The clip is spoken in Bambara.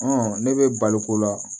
ne bɛ balo ko la